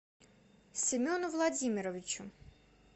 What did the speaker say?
семену владимировичу